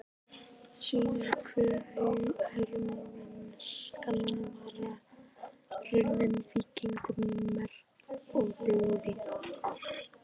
sýnir hve hermennskan var runnin víkingum í merg og blóð.